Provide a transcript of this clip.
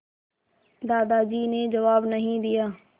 दादाजी ने जवाब नहीं दिया